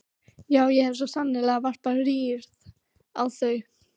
Já, ég hef svo sannarlega varpað rýrð á þau.